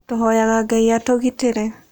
Tũhoyaga Ngai atũgitĩre.